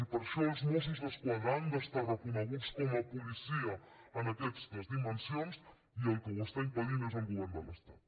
i per això els mossos d’esquadra han d’estar reconeguts com a policia en aquestes dimensions i el que ho està impedint és el govern de l’estat